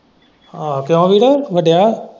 ਆਹੋ ਕਿਉਂ ਵੀਰ ਵੱਡਿਆ।